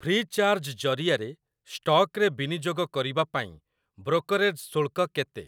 Free charge ଜରିଆରେ ଷ୍ଟକରେ ବିନିଯୋଗ କରିବା ପାଇଁ ବ୍ରୋକରେଜ ଶୁଳ୍କ କେତେ?